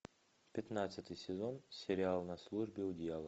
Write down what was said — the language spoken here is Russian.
пятнадцатый сезон сериал на службе у дьявола